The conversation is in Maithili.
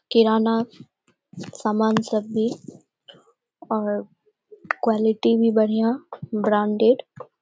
किराना सामान सब भी और क्वालिटी भी बढ़िया ब्रांडेड ।